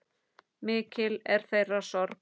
Mikil er þeirra sorg.